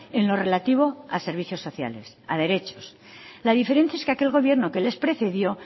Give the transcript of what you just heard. en lo relativo a servicios sociales a derechos la diferencia es que aquel gobierno que les precedió